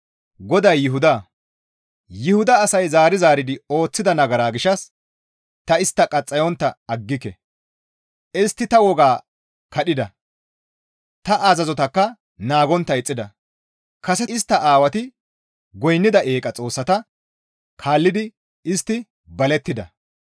GODAY Yuhuda, «Yuhuda asay zaari zaaridi ooththida nagara gishshas ta istta qaxxayontta aggike; istti ta woga kadhida; ta azazotakka naagontta ixxida; kase istta aawati goynnida eeqa xoossata kaallidi istti balettida.